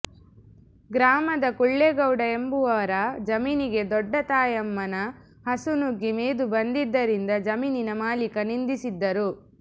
ಗ್ರಾಮದ ಕುಳ್ಳೇಗೌಡ ಎಂಬುವರ ಜಮೀನಿಗೆ ದೊಡ್ಡತಾಯಮ್ಮನ ಹಸು ನುಗ್ಗಿ ಮೇದು ಬಂದಿದ್ದರಿಂದ ಜಮೀನನ ಮಾಲೀಕ ನಿಂದಿಸಿದ್ದರು